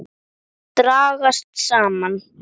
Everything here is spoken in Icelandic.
Þær dragast saman.